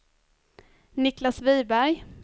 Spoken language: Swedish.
Niclas Wiberg